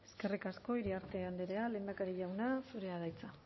eskerrik asko iriarte andrea lehendakari jauna zurea da hitza